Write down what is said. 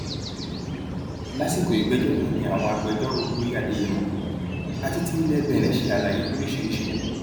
lásìkò ìgbẹjọ náà ni àwọn agbẹjọrò olóyè adéyẹmọ àti ti ilé benin ṣe àlàyé lóríṣìíríṣìí